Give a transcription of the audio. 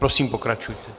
Prosím, pokračujte.